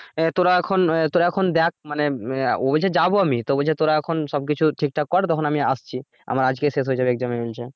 আহ তোরা এখন তোরা এখন দেখ মানে ও বলছে যাবো আমি তো তোরা এখন সবকিছু ঠিকঠাক কর তখন আমি আসছি আমার আজকে শেষ হয়ে যাবে examination টা না